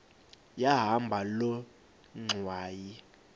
yahamba loo ngxwayi